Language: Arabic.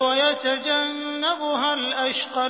وَيَتَجَنَّبُهَا الْأَشْقَى